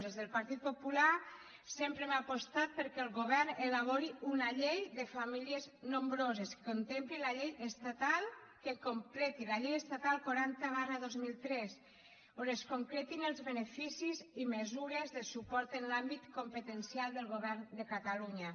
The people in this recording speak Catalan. des del partit popular sempre hem apostat perquè el govern elabori una llei de famílies nombroses que completi la llei estatal quaranta dos mil tres on es concretin els beneficis i mesures de suport en l’àmbit competencial del govern de catalunya